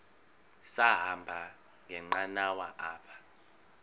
sahamba ngenqanawa apha